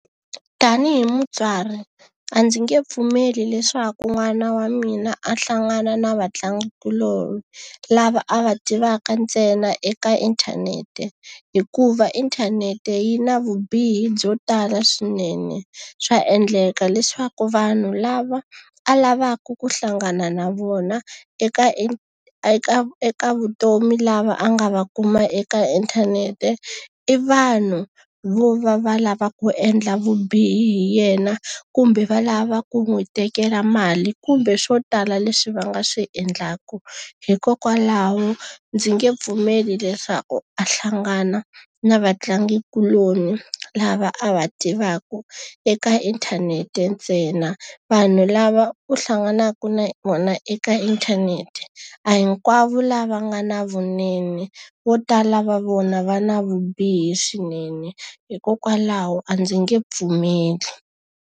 Tanihi mutswari a ndzi nge pfumeli leswaku n'wana wa mina a hlangana na vatlangikuloni lava a va tivaka ntsena eka inthanete, hikuva inthanete yi na vubihi byo tala swinene. Swa endleka leswaku vanhu lava a lavaka ku hlangana na vona eka eka eka eka vutomi lava a nga va kuma eka inthanete, i vanhu vo va va lava ku endla vubihi hi yena kumbe va lava ku n'wi tekela mali, kumbe swo tala leswi va nga swi endlaka. Hikokwalaho ndzi nge pfumeli leswaku a hlangana na vatlangikuloni lava a va tivaka eka inthanete ntsena. Vanhu lava u hlanganaka na vona eka inthanete, a hi hinkwavo lava nga na vunene, vo tala va vona va na vubihi swinene. Hikokwalaho a ndzi nge pfumeli.